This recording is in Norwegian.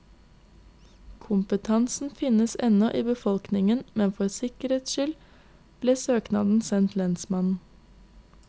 Kompetansen finnes ennå i befolkningen, men for sikkerhets skyld ble søknad sendt lensmannen.